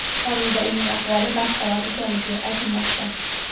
Hozirda uning ahvoli barqaror ekanligi aytilmoqda.